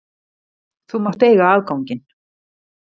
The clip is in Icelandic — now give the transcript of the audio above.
Þú mátt eiga afganginn.